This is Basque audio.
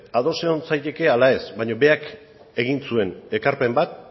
ados egon zaitezke ala ez baina berak egin zuen ekarpen bat